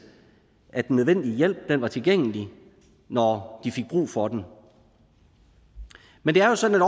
at den nødvendige hjælp var tilgængelig når de fik brug for den men det er jo sådan